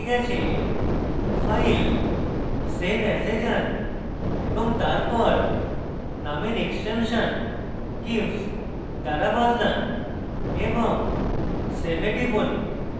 file save as এ যান এবং তারপর name এক্সটেনশন gif দ্বারা বদলান এবং save এ টিপুন